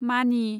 मानि